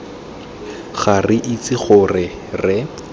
ga re itse gore re